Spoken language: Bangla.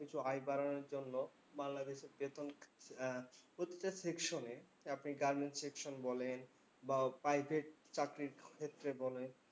কিছু আয় বাড়ানোর জন্য বাংলাদেশের বেতন আহ প্রত্যেক section এ আপনি গার্মেন্টস section বলেন বা private চাকরির ক্ষেত্রে বলেন,